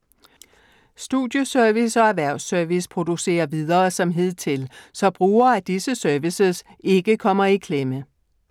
Studieservice og Erhvervs-service producerer videre som hidtil, så brugere af disse services ikke kommer i klemme.